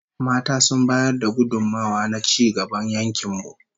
Mata sun bayar da gudummawa na ci gaban yankin mu